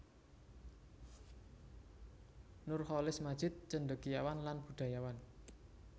Nurcholish Madjid cendekiawan lan budayawan